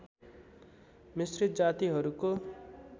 मिश्रित जातिहरूको